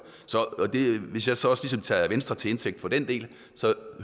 hvis jeg så også ligesom tager venstre til indtægt for den del